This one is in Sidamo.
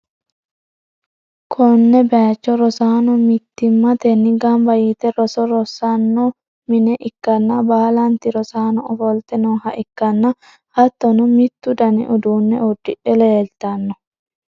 konne bayicho rosaano mittimmatenni gamba yite roso rosanno mine ikkanna, baalanti rosaano ofolte nooha ikkanna, hattono mittu dani uduunne uddidhe leetanno.